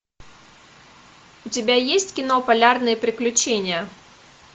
у тебя есть кино полярные приключения